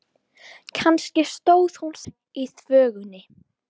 Kannski stóð hún þar í þvögunni.